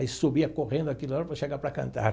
Aí subia correndo aquela hora para chegar para cantar.